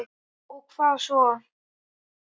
Já og hvað svo!